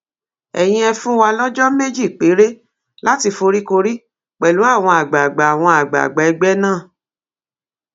ẹyin ẹ fún wa lọjọ méjì péré láti foríkorí pẹlú àwọn àgbààgbà àwọn àgbààgbà ẹgbẹ náà